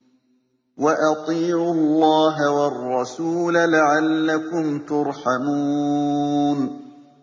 وَأَطِيعُوا اللَّهَ وَالرَّسُولَ لَعَلَّكُمْ تُرْحَمُونَ